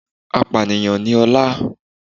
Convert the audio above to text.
Apànìyàn ni Ọlá